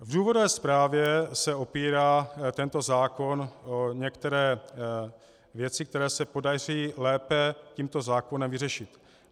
V důvodové zprávě se opírá tento zákon o některé věci, které se podaří lépe tímto zákonem vyřešit.